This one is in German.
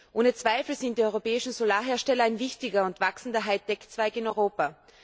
Ohne Zweifel sind die europäischen Solarhersteller ein wichtiger und wachsender Hightechzweig in Europa.